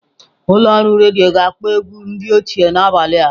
Ụlọ ọrụ redio ga-akpọ ewgu ndi ochie n'abalị a.